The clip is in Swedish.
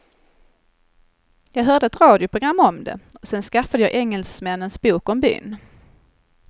Jag hörde ett radioprogram om det och sen skaffade jag engelsmännens bok om byn.